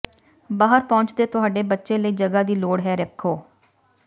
ਬਾਹਰ ਪਹੁੰਚ ਦੇ ਤੁਹਾਡੇ ਬੱਚੇ ਲਈ ਜਗ੍ਹਾ ਦੀ ਲੋੜ ਹੈ ਰੱਖੋ